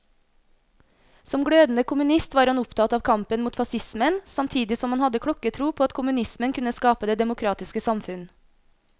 Som glødende kommunist var han opptatt av kampen mot facismen, samtidig som han hadde klokketro på at kommunismen kunne skape det demokratiske samfunn.